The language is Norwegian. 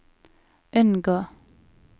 unngå